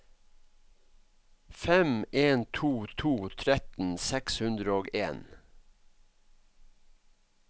fem en to to tretten seks hundre og en